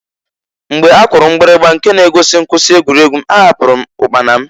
Mgbe a kụrụ mgbirigba nke na-egosi mkwụsị egwuregwu, ahapụru m ụkpana m.